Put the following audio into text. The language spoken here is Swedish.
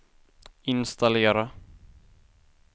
installera